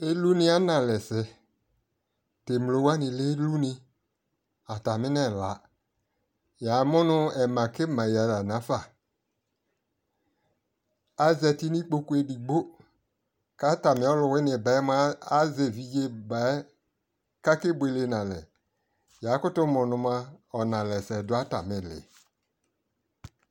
ilu ni ana alɛ sɛ, to emlo wani lɛ iluni, atame no ɛla yamo no ɛma kɛma ya la nafa azati no ikpoku edigbo ko atami ɔluwini baɛ moa azɛ evidze baɛ ko ake boele no alɛ ya koto mo no moa ɔnalɛsɛ do atami li